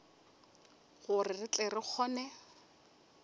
gore re tle re kgone